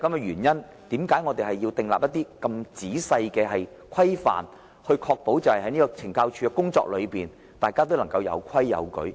因此，我們要訂立很仔細的規範，確保大家在懲教署工作時能有規有矩。